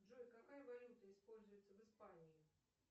джой какая валюта используется в испании